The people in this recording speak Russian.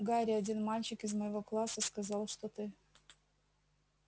гарри один мальчик из моего класса сказал что ты